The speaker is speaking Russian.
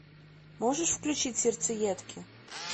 можешь включить сердцеедки